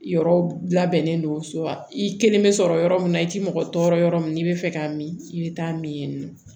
Yɔrɔ labɛnnen don so wa i kelen bɛ sɔrɔ yɔrɔ min na i tɛ mɔgɔ tɔɔrɔ yɔrɔ min n'i bɛ fɛ k'a min i bɛ taa min